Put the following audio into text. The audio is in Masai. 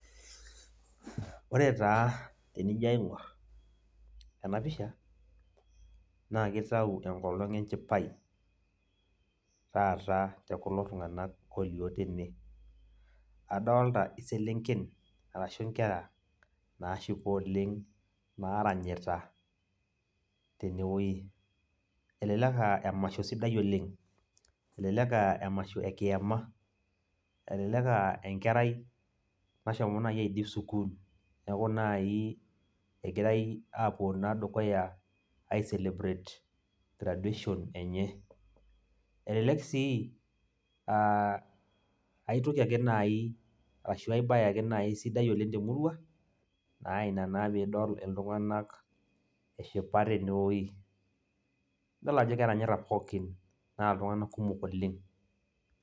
Ore taa tenijo aing'or, enapisha, na kitau enkolong enchipai, taata tekulo tung'anak olio tene. Adolta iselenken arashu nkera, nashipa oleng, naranyita tenewoi. Elelek ah emasho sidai oleng. Elelek ah emasho ekiama, elelek ah enkerai nashomo nai aidip sukuul, neeku nai egirai apuo naa dukuya ai celebrate graduation enye. Elelek si ah aitoki ake nai, arashu ai bae ake nai sidai temurua, na ina naa pidol iltung'anak eshipa tenewoi. Idol ajo keranyita pookin, na iltung'anak kumok oleng.